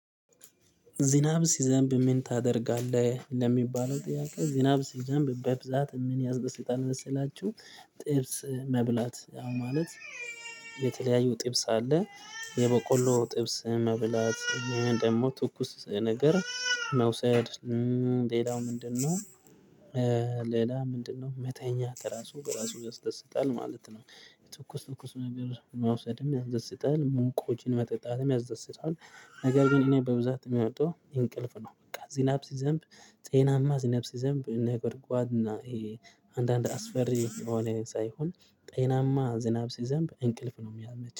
ዝናብ ሲዘንብ ምን ታደርጋለህ? ለሚባለው ጥያቄ ዝናብ ሲዘንብ በብዛት ምን ያስደሰታል መሰላችሁ ጥብስ መብላት ማለት የተለያዩ ጥብስ አለ የበቆሎ ጥብስ መብላት ደግሞ ትኩስ ነገር መውሰድ ሌላው ምንድነው ሌላ ምንድነው መተኛ ራሱ በራሱ ያስደስታል ማለት ነው ትኩስ ነገር መውሰድም ያስደስታል ሙቆችንም መጠጣትም ያስደስታል፤ ነገር ግን እኔ በብዛት የምወደው እንቅልፍ ነው። በቃ ዝናብ ሲዘንብ ጤናማ ዝናብ ሲዘንብ ነጎድጓድ እና አንዳንድ አስፈሪ ስለሆነ ሳይሆን ጤናማ ዝናብ ሲዘንብ እንቅልፍ ነው የሚመቸኝ።